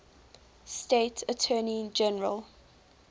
state attorney general